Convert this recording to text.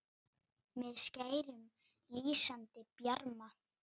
með skærum, lýsandi bjarma